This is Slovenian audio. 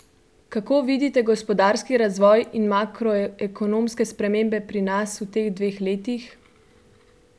Kako vidite gospodarski razvoj in makroekonomske spremembe pri nas v teh dveh letih?